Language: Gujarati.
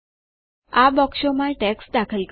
આ બોક્સોમાં ટેક્સ્ટ દાખલ કરો